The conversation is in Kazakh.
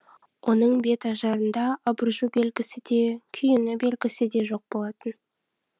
оның бет ажарында абыржу белгісі де күйіну белгісі де жоқ болатын